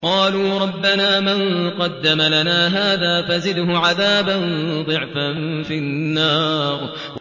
قَالُوا رَبَّنَا مَن قَدَّمَ لَنَا هَٰذَا فَزِدْهُ عَذَابًا ضِعْفًا فِي النَّارِ